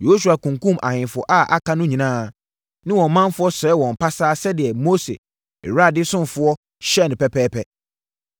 Yosua kunkumm ahemfo a aka no nyinaa ne wɔn manfoɔ sɛee wɔn pasaa sɛdeɛ Mose, Awurade ɔsomfoɔ, hyɛɛ no pɛpɛɛpɛ.